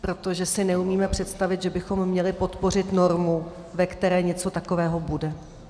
Protože si neumíme představit, že bychom měli podpořit normu, ve které něco takového bude.